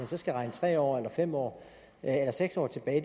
så skal regne tre år eller fem år eller seks år tilbage